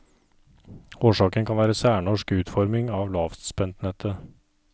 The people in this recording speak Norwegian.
Årsaken kan være særnorsk utforming av lavspentnettet.